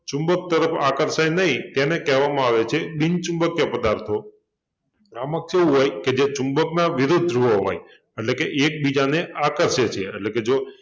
ચુંબક તરફ આકર્ષાય નહિ તેને કહેવામાં આવે છે બિનચુંબકિય પદાર્થો આમાં કેવુ હોય કે જે ચુંબકના વિરુદ્ધ ધ્રુવો હોય એટલે કે એકબીજાને આકર્ષે છે એટલે કે જો